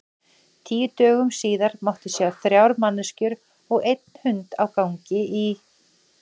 Tíu dögum síðar mátti sjá þrjár manneskjur og einn hund á gangi í